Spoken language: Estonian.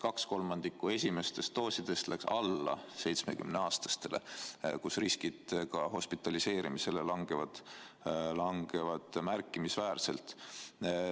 Kaks kolmandikku esimestest doosidest läks alla 70-aastastele, kus hospitaliseerimise risk langeb märkimisväärselt.